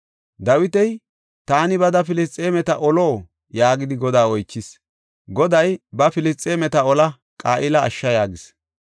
Dawiti, “Taani bada Filisxeemeta olo?” yaagidi Godaa oychis. Goday, “Ba; Filisxeemeta ola; Qa7ila ashsha” yaagis.